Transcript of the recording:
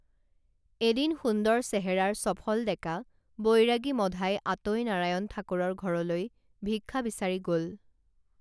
এদিন সুন্দৰ চেহেৰাৰ চফল ডেকা বৈৰাগী মধাই আতৈ নাৰায়ণ ঠাকুৰৰ ঘৰলৈ ভিক্ষা বিচাৰি গল